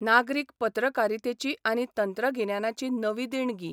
नागरीक पत्रकारितेची आनी तंत्रगिन्यानाची नवी देणगी.